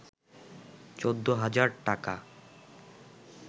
১৪ হাজার টাকা